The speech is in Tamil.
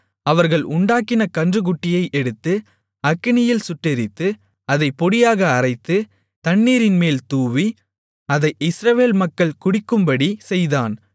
அவர்கள் உண்டாக்கின கன்றுக்குட்டியை எடுத்து அக்கினியில் சுட்டெரித்து அதைப் பொடியாக அரைத்து தண்ணீரின்மேல் தூவி அதை இஸ்ரவேல் மக்கள் குடிக்கும்படி செய்தான்